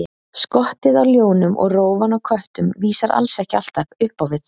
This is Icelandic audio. Skottið á ljónum og rófan á köttum vísar alls ekki alltaf upp á við.